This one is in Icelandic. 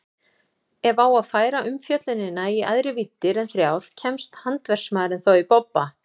Ef á að færa umfjöllunina í æðri víddir en þrjár kemst handverksmaðurinn þó í bobba.